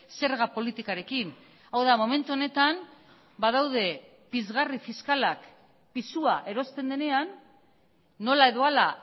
zerga politikarekin hau da momentu honetan badaude pizgarri fiskalak pisua erosten denean nola edo hala